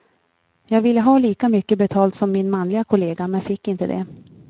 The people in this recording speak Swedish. Jag ville ha lika mycket betalt som min manliga kollega, men fick inte det.